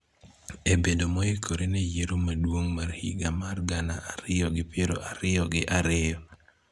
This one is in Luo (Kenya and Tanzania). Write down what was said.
e bedo moikore ne Yiero Maduong� mar higa mar gana ariyo gi piero ariyo gi ariyo.